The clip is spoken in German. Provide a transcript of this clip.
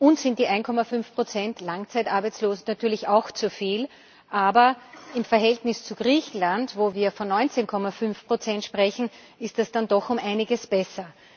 Uns sind die 1,5 Prozent Langzeitarbeitslose natürlich auch zu viel, aber im Verhältnis zu Griechenland, wo wir von 19,5 Prozent sprechen, ist es dann doch um einiges besser.